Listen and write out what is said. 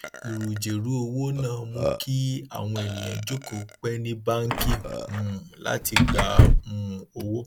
ìrùjèrú owó náà mú kí àwọn èèyàn jókòó pẹ ní báàǹkì um láì gba um owó